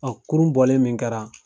kurun bɔlen min kɛra.